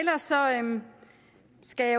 skal